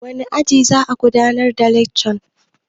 Wane aji za'a gudanar da lekcan?